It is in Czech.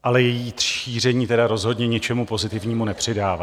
Ale její šíření tedy rozhodně ničemu pozitivnímu nepřidává.